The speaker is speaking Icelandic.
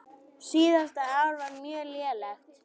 Síðasta ár var mjög lélegt.